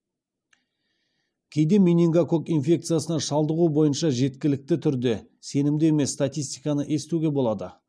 кейде менингококк инфекциясына шалдығу бойынша жеткілікті түрде сенімді емес статистиканы естуге болады